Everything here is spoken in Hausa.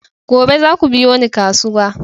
Gobe zaku biyo ni kasuwa!